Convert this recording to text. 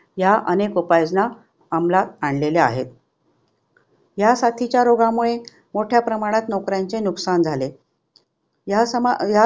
ह्या अनेक उपायजना अमलात आणलेल्या आहेत. ह्या साथीच्या रोगामुळे मोठ्या प्रमाणात नोकऱ्यांचे नुकसान झाले. ह्या समा ह्या